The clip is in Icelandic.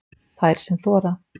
Þær sem þora